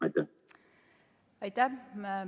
Aitäh!